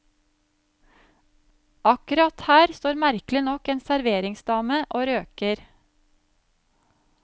Akkurat her står merkelig nok en serveringsdame og røyker.